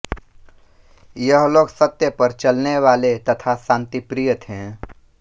यह लोग सत्य पर चलने वाले तथा शांतिप्रिय थे